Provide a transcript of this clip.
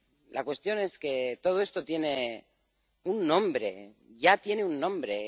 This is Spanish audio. La cuestión es que todo esto tiene un nombre, ya tiene un nombre.